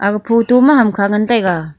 aga photo ma hamkha ngan taga.